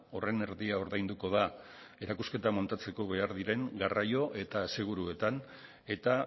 horren erdia ordainduko da erakusketa montatzeko behar diren garraio eta aseguruetan eta